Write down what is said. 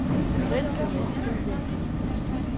Pred slovenskim zetom?